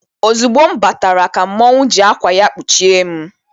Ozugbo m batara, ka mmọnwụ ji akwa ya kpuchie m.